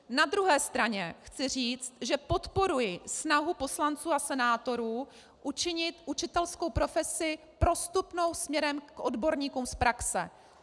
Na druhé straně chci říct, že podporuji snahu poslanců a senátorů učinit učitelskou profesi prostupnou směrem k odborníkům z praxe.